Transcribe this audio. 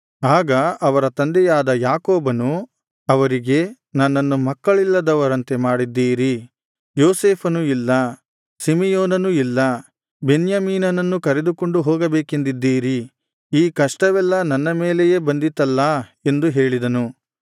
ಆಗ ಅವರ ತಂದೆಯಾದ ಯಾಕೋಬನು ಅವರಿಗೆ ನನ್ನನ್ನು ಮಕ್ಕಳಿಲ್ಲದವನಂತೆ ಮಾಡಿದ್ದೀರಿ ಯೋಸೇಫನು ಇಲ್ಲ ಸಿಮೆಯೋನನು ಇಲ್ಲ ಬೆನ್ಯಾಮೀನನ್ನೂ ಕರೆದುಕೊಂಡು ಹೋಗಬೇಕೆಂದಿದ್ದೀರಿ ಈ ಕಷ್ಟವೆಲ್ಲಾ ನನ್ನ ಮೇಲೆಯೇ ಬಂದಿತಲ್ಲಾ ಎಂದು ಹೇಳಿದನು